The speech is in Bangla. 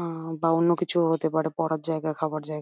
আ বা অন্য কিছু ও হতে পারে পড়ার জায়গা বা খাবার জায়গা।